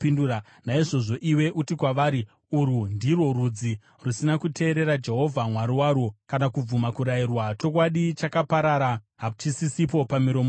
Naizvozvo iwe uti kwavari, ‘Urwu ndirwo rudzi rusina kuteerera Jehovha Mwari warwo kana kubvuma kurayirwa. Chokwadi chakaparara, hachisisipo pamiromo yavo.